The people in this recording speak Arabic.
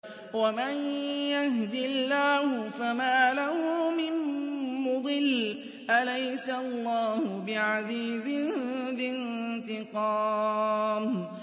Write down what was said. وَمَن يَهْدِ اللَّهُ فَمَا لَهُ مِن مُّضِلٍّ ۗ أَلَيْسَ اللَّهُ بِعَزِيزٍ ذِي انتِقَامٍ